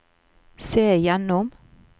se gjennom